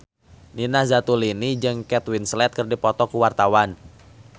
Nina Zatulini jeung Kate Winslet keur dipoto ku wartawan